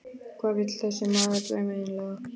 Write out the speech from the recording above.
Hvað vill þessi maður þeim eiginlega?